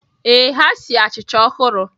Ee, ha sie achịcha ọhụrụ